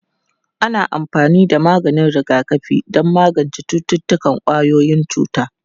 Ana amfani da maganin rigakafi don magance cututtukan ƙwayoyin cuta.